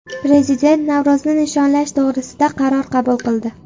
Prezident Navro‘zni nishonlash to‘g‘risida qaror qabul qildi.